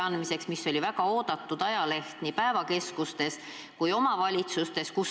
Ometi oli see väga oodatud ajaleht nii päevakeskustes kui omavalitsustes.